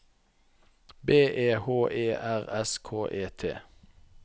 B E H E R S K E T